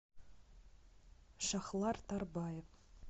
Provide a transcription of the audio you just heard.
шахлар тарбаев